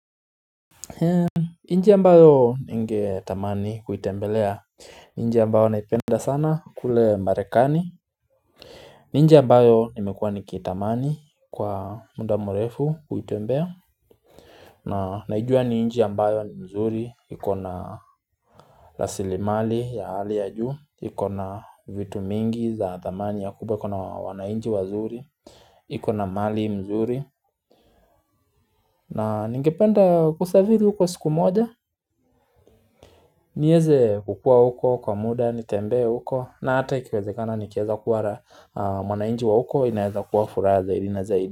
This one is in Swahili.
Njia ambayo ningetamani kuitembelea nchi ambayo naipenda sana kule Marekani ni nchi ambayo nimekuwa nikitamani kwa muda mrefu kuitembea na naijua ni nchi ambayo ni mzuri iko na rasilimali ya hali ya juu iko na vitu mingi za thamani ya kubwa iko na wananchi wazuri iko na mali mzuri na ningependa kusafiri uko siku moja nieze kukuwa uko kwa muda, nitembee uko na hata ikiwezekana nikaeza kuwa na mwananchi wa huko inaeza kuwa furaha zaidi na zaidi.